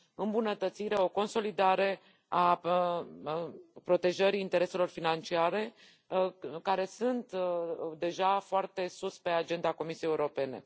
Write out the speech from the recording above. îmbunătățire, o consolidare a protejării intereselor financiare, care este deja foarte sus pe agenda Comisiei Europene.